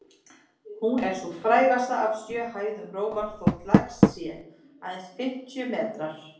Hún er sú frægasta af sjö hæðum Rómar, þótt lægst sé, aðeins fimmtíu metrar.